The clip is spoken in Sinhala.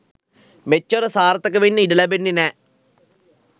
මෙච්චර සාර්ථක වෙන්න ඉඩ ලැබෙන්නේ නැහැ.